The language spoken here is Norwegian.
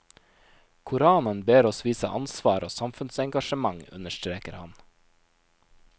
Koranen ber oss vise ansvar og samfunnsengasjement, understreker han.